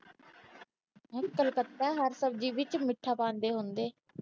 ਕੱਲਕਤਾ ਹਰ ਸਬਜੀ ਵਿੱਚ ਮਿੱਠਾ ਪਾਉਂਦੇ ਹੁੰਦੇ।